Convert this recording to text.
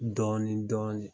Dɔɔnin dɔɔnin